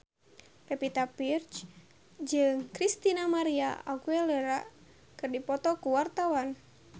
Pevita Pearce jeung Christina María Aguilera keur dipoto ku wartawan